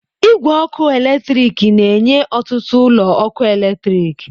Igwe ọkụ eletrik na-enye ọtụtụ ụlọ ọkụ eletrik.